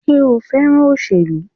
Sé o fẹ́ràn òṣèlú?